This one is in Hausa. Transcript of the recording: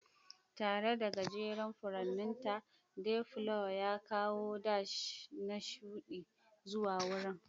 Tare da gajeren furanninta, dayflower ya kawo dash na shuɗi zuwa wurin.